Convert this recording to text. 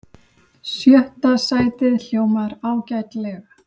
Sjötta sætið hljómar ágætlega